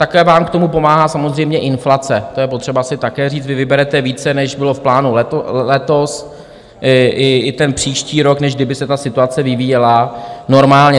Také vám k tomu pomáhá samozřejmě inflace, to je potřeba si také říct, vy vyberete více než bylo v plánu letos i ten příští rok, než kdyby se ta situace vyvíjela normálně.